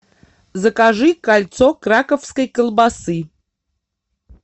закажи кольцо краковской колбасы